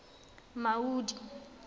maudi